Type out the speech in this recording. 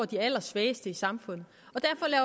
de allersvageste i samfundet